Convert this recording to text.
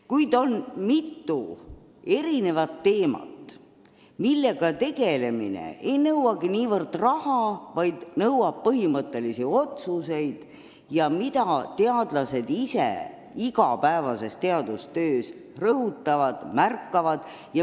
Kuid on mitu teemat, millega tegelemine ei nõuagi niivõrd raha, kuivõrd põhimõttelisi otsuseid, mille vajadust teadlased ise igapäevases teadustöös märkavad.